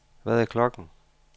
Hvad er klokken